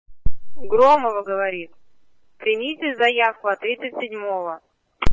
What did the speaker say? громова говорит примите заявку ответить седьмого